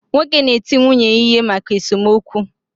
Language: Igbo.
Nwoke na eti nwunye ya ihe maka esomokwu.